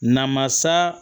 Namasa